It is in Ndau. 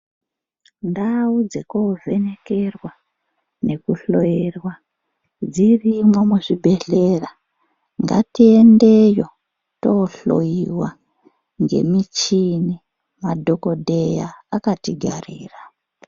Ndau dzekovhenekerwa nekuhloyerwa dzirimwo muzvibhehlera ngatiendeyo tohloyiwa ngemichini , madhokodheya akatigarira .